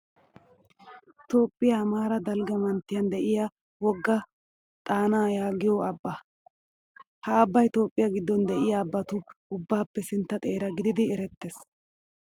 Toophphiyaa amaara dalgga manttiyan diyaa wogga xaanaa yaagiyoo abbaa. Ha abbayi Toophphiya giddon diyaa abbatu ubbaappe sintta xeera gidid erettes,